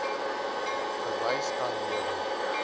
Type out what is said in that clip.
bewys kan lewer